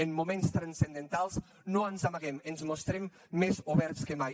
en moments transcendentals no ens amaguem ens mostrem més oberts que mai